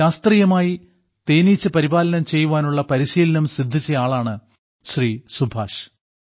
ശാസ്ത്രീയമായി തേനീച്ച പരിപാലനം ചെയ്യുവാനുള്ള പരിശീലനം സിദ്ധിച്ചയാളാണ് ശ്രീ സുഭാഷ്